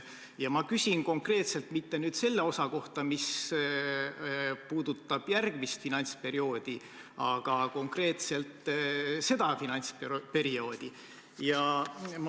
Ja ma küsin konkreetselt mitte selle osa kohta, mis puudutab järgmist finantsperioodi, vaid konkreetselt selle finantsperioodi kohta.